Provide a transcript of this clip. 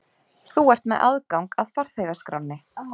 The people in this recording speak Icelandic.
Þú ert með aðgang að farþegaskránni.